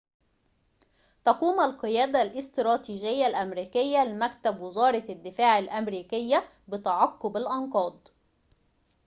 تقوم القيادة الإستراتيجية الأمريكية لمكتب وزارة الدفاع الأمريكية بتعقب الأنقاض